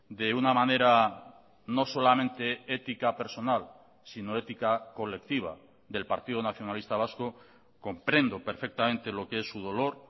de una manera no solamente ética personal sino ética colectiva del partido nacionalista vasco comprendo perfectamente lo que es su dolor